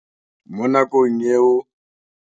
Mo nakong eo